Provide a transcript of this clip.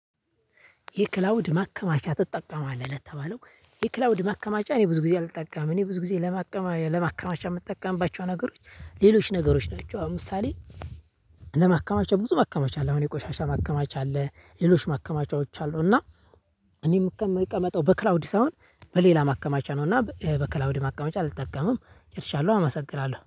የክላውድ ማከማቻ ትጠቀማለህ? ለተባለው የክላውድ ማከማቻ እኔ ብዙ ጊዜ አልጠቀምም እኔ ብዙ ጊዜ ለማቀማይ ለማከማቻ የምጠቀምባቸው ነገሮች ሌሎች ነገሮች ናቸው። አሁን ምሳሌ። ለማከማቻ ብዙ ማከማቻ አለ። አሁን የቆሻሻ ማከማቻ አለ። ሌሎች ማከማቻዎች አሉ። እና እኔም የምቀመጠው በክላውዲ ሳይሆን በሌላ ማከማቻ ነው። እና በክላውድ ማቀመጫ አልጠቀምም። ጨርሻለሁ አመሰግናለሁ